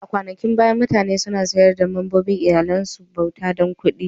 A kwanakin baya, mutane suna sayar da membobin iyallin su ga bauta dan kuɗi.